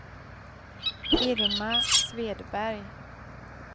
Irma Svedberg